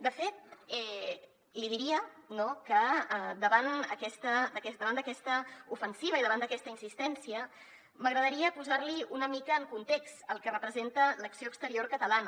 de fet li diria no que davant d’aquesta ofensiva i davant d’aquesta insistència m’agradaria posar li una mica en context el que representa l’acció exterior catalana